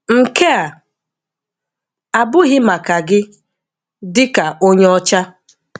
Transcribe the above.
Nke a abụghị maka gị, dị ka onye ọcha.